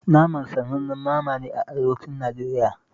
Naman sa sanannen nama ne a arewacin Najeriya